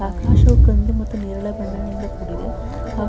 ಆಕಾಶವು ಕಂದು ಮತ್ತು ನೇರಳೆ ಬಣ್ಣದಿಂದ ಕೂಡಿದೆ ಹಾಗೂ--